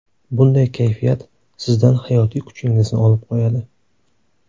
Bunday kayfiyat sizdan hayotiy kuchingizni olib qo‘yadi.